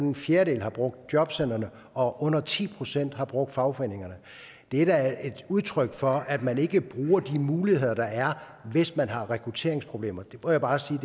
en fjerdedel har brugt jobcentrene og under ti procent har brugt fagforeningerne det er da et udtryk for at man ikke bruger de muligheder der er hvis man har rekrutteringsproblemer det må jeg bare sige